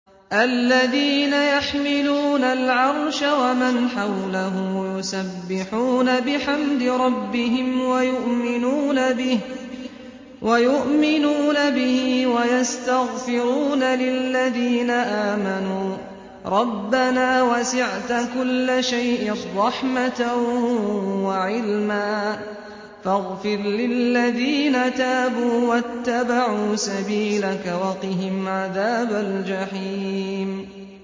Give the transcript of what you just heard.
الَّذِينَ يَحْمِلُونَ الْعَرْشَ وَمَنْ حَوْلَهُ يُسَبِّحُونَ بِحَمْدِ رَبِّهِمْ وَيُؤْمِنُونَ بِهِ وَيَسْتَغْفِرُونَ لِلَّذِينَ آمَنُوا رَبَّنَا وَسِعْتَ كُلَّ شَيْءٍ رَّحْمَةً وَعِلْمًا فَاغْفِرْ لِلَّذِينَ تَابُوا وَاتَّبَعُوا سَبِيلَكَ وَقِهِمْ عَذَابَ الْجَحِيمِ